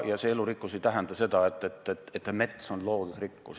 Ja see elurikkus ei tähenda seda, et mets on loodusvara.